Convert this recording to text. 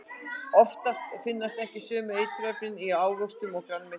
Oftast finnast ekki sömu eiturefnin í ávöxtum og grænmeti.